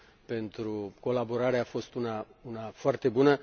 pentru colaborare a fost una foarte bună.